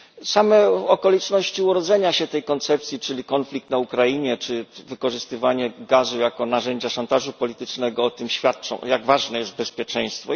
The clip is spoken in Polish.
Same okoliczności urodzenia się tej koncepcji, czyli konflikt na Ukrainie, czy wykorzystywanie gazu jako narzędzia szantażu politycznego, świadczą o tym, jak ważne jest bezpieczeństwo.